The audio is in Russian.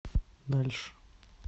дальше